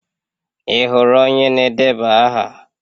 Ị hụrụ onye na-edeba aha?